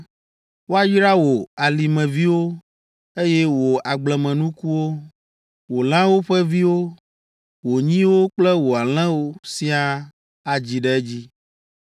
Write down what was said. Woayra wò alimeviwo, eye wò agblemenukuwo, wò lãwo ƒe viwo, wò nyiwo kple wò alẽwo siaa adzi ɖe edzi.